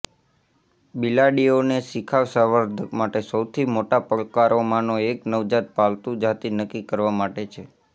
બિલાડીઓને શિખાઉ સંવર્ધક માટે સૌથી મોટા પડકારોમાંનો એક નવજાત પાલતુ જાતિ નક્કી કરવા માટે છે